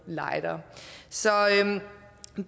lightere så